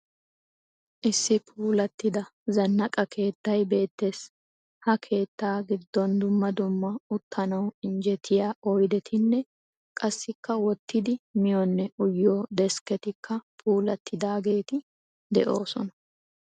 Issi puulattida zannaqa keettay beettes. Ha keettaa giddon dumma dumma uttanawu injjetiya oyidetinne qassikka wottidi miyonne uyiyo deskketikka puulattidaageeti de"oosona.